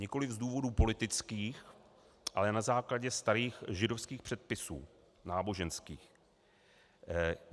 Nikoliv z důvodů politických, ale na základě starých židovských předpisů, náboženských.